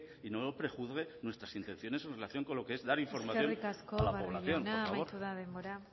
y no nos prejuzgue nuestras intenciones en relación con lo que es dar información a la población por favor eskerrik asko barrio jauna amaitu da denbora